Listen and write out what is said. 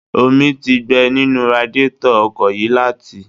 Omi ti gbẹ nínú radiétọ̀ ọkọ̀ yìí láti